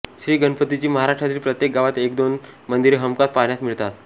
श्री गणपतीची महाराष्ट्रातील प्रत्येक गावात एकदोन मंदिरे हमखास पाहण्यास मिळतात